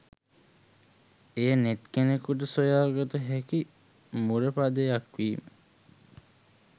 එය නෙත් කෙනෙකුට සොයා ගත හැකි මුරපදයක් වීම